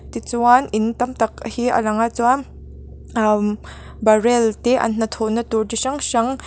tichuan in tam tak hi a lang a chuan umm barrel te an hnathawhna tur chi hrang hrang--